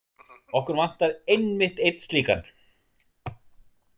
Okkur vantar einmitt einn slíkan.